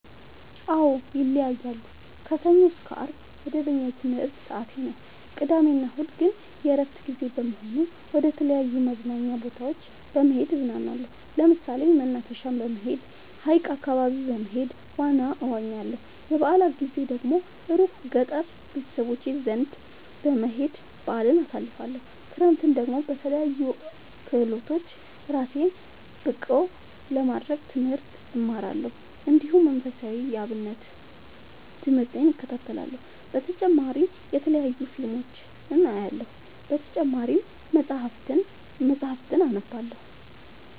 አዎ ይለያያለሉ። ከሰኞ እስከ አርብ መደበኛ የትምህርት ሰዓቴ ነው። ቅዳሜ እና እሁድ ግን የእረፍት ጊዜ በመሆኑ መደተለያዩ መዝናኛ ቦታዎች በመሄድ እዝናናለሁ። ለምሳሌ መናፈሻ በመሄድ። ሀይቅ አካባቢ በመሄድ ዋና እዋኛለሁ። የበአላት ጊዜ ደግሞ እሩቅ ገጠር ቤተሰቦቼ ዘንዳ በመሄድ በአልን አሳልፍለሁ። ክረምትን ደግሞ በለያዩ ክህሎቶች እራሴን ብቀሐ ለማድረግ ትምህርት እማራለሁ። እንዲሁ መንፈሳዊ የአብነት ትምህርቴን እከታተላለሁ። በተጨማሪ የተለያዩ ፊልሞችን አያለሁ። በተጨማሪም መፀሀፍትን አነባለሁ።